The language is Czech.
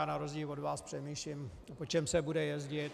Já na rozdíl od vás přemýšlím, po čem se bude jezdit.